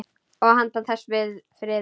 Og handan þess: friður.